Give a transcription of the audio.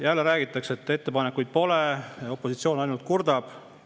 Jälle räägitakse, et ettepanekuid pole, opositsiooni ainult kurdab.